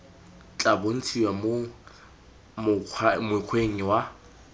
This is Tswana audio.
tla bontshiwa mo mokgweng wa